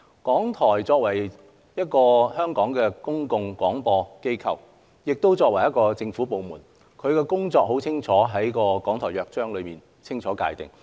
港台作為香港的公共廣播機構，亦作為政府部門，其工作已在《港台約章》中清楚界定。